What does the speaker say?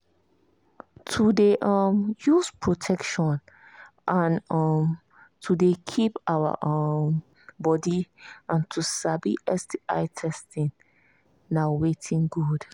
to they um use protection and um to they keep our um body and to sabi sti testing na watin good